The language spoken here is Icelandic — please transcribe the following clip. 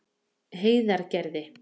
Heiðargerði